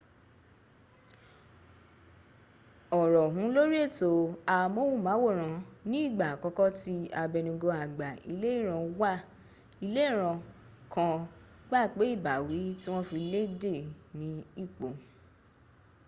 ọ̀rọ̀ ọ̀hún lórí ètò amóhùnmáwòrán ni ìgbà àkọ́kọ́ tí abẹnugan àgbà ilẹ̀ iran kan gbà pé ìbáwí tí wọn fi léde ní ip